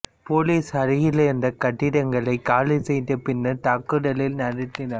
police அருகில் இருந்த கட்டிடங்களை காலி செய்து பின்னர் தாக்குதலை நடத்தினர்